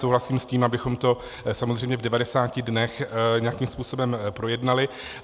Souhlasím s tím, abychom to samozřejmě v 90 dnech nějakým způsobem projednali.